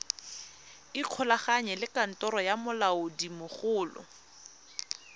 ikgolaganye le kantoro ya molaodimogolo